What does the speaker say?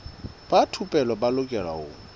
ba thupelo ba lokela ho